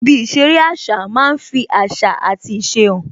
Ibi ìṣeré àṣà máa ń fi àṣà àti ìṣe hàn